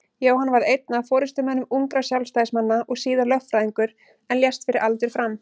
Jóhann varð einn af forystumönnum ungra Sjálfstæðismanna og síðar lögfræðingur en lést fyrir aldur fram.